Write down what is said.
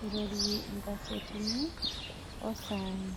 eirorie nkasetini oo saai